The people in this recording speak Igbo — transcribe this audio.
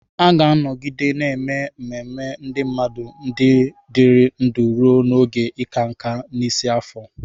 A ga-anọgide na-eme ememe ndị mmadụ ndị dịrị ndụ ruo n'oge ịka nká, n'isi afọ.